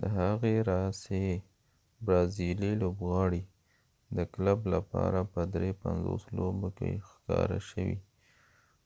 د هغې راهیسی برازیلی لوبغاړی د کلب لپاره په 53 لوبو کې ښکاره شوي